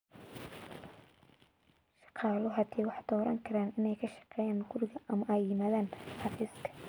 Shaqaaluhu hadda waxay dooran karaan inay ka shaqeeyaan guriga ama ay yimaadaan xafiiska.